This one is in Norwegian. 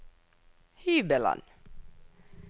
hybelen